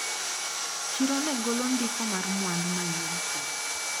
Chiro negolo ndiko mar mwandu manyien pile.